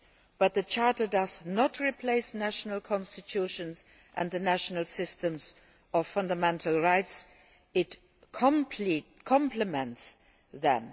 But the Charter does not replace national constitutions and national systems of fundamental rights, it complements them.